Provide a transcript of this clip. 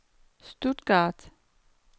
Stuttgart